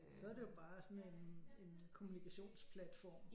Så er det jo bare sådan en en kommunikationsplatform